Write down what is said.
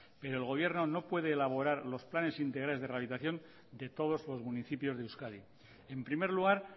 pero el gobierno no puede elaborar los planes integrales de rehabilitación de todos los municipios de euskadi en primer lugar